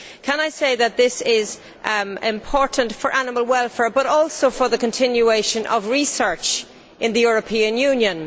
Can I say that this is important for animal welfare, but also for the continuation of research in the European Union.